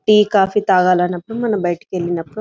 tea coffee తాగాలన్నపుడు మనం బైట వెళ్ళినప్పుడు --